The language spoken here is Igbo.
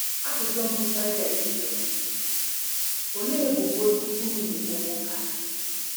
Ajụjụ mbụ Paịlet jụrụ bụ: “Olee ebubo unu na-ebo nwoke a?”